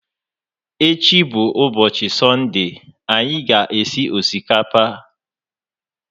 Echi bụ úbọchị sọnde, anyị ga esi osikapa